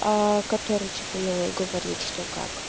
аа который типа ну говорит что как